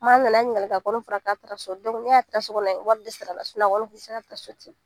Maa an nana an ɲininkali kɛ a fɔrɔ k'a taara so n'a taa sokɔni wari de sarala a kɔni tɛ se ka taa so ten